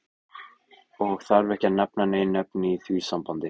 Og þarf ekki að nefna nein nöfn í því sambandi.